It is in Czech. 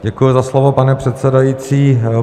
Děkuji za slovo, pane předsedající.